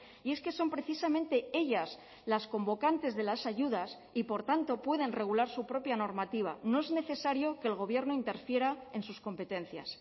y es que son precisamente ellas las convocantes de las ayudas y por tanto pueden regular su propia normativa no es necesario que el gobierno interfiera en sus competencias